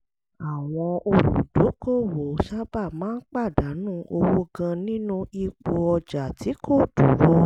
àwọn olùdókòwò tí kò ṣe àyípadà sábà máa ń pàdánù owó gan-an nínú ipò ọjà tí kò dúró